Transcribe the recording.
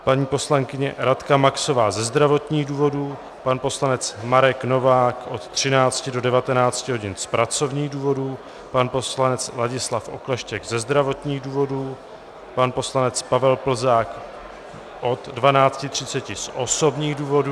Paní poslankyně Radka Maxová ze zdravotních důvodů, pan poslanec Marek Novák od 13 do 19 hodin z pracovních důvodů, pan poslanec Ladislav Okleštěk ze zdravotních důvodů, pan poslanec Pavel Plzák od 12.30 z osobních důvodů...